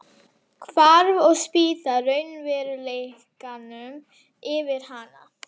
Hvarf og spýtti raunveruleikanum yfir hana.